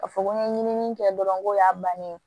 Ka fɔ ko n ye ɲinini kɛ dɔrɔn ko y'a bannen ye